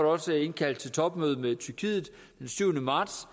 også indkaldt til topmøde med tyrkiet den syvende marts